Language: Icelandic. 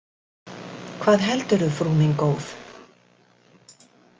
Hvað heldur þú, frú mín góð?